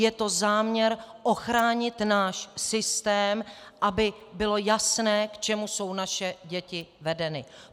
Je to záměr ochránit náš systém, aby bylo jasné, k čemu jsou naše děti vedeny.